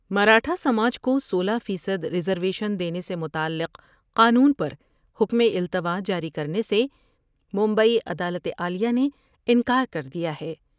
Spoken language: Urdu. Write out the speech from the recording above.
مراٹھاسماج کو سولہ فیصد ریزرویشن دینے سے متعلق قانون پریکم التواء جاری کرنے سے مبئی عدالت عالیہ نے انکار کر دیا ہے ۔